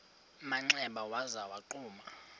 manxeba waza wagquma